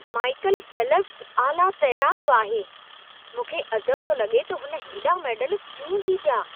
माइकलु फ़ेल्पसु आला तैराकु आहे। मूंखे अजब थो लॻे त हुन हेॾा मेडल कीअं जीतिया!